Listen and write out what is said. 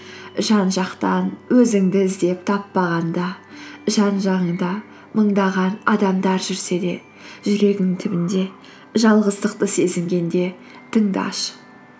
жан жақтан өзіңді іздеп таппағанда жан жағыңда мыңдаған адамдар жүрсе де жүрегіңнің түбінде жалғыздықты сезінгенде тыңдашы